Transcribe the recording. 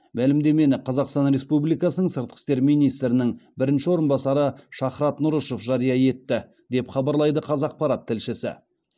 мәлімдемені қазақстан республикасының сыртқы істер министрінің бірінші орынбасары шахрат нұрышев жария етті деп хабарлайды қазақпарат тілшісі